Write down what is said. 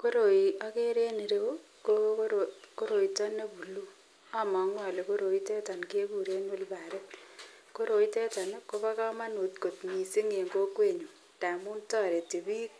Koroi okere en ireyu ko koroito nebulu, omongu olee koroiteton kekuren olbarit, koroiteton kobokomonut kot mising en kokwenyun amun toreti biik